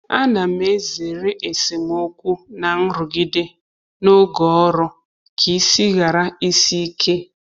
A na m ezere esemokwu na nrụgide n’oge ọrụ ka isi ghara isi ike